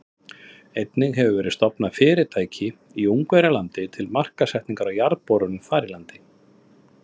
Einnig hefur verið stofnað fyrirtæki í Ungverjalandi til markaðssetningar á jarðborunum þar í landi.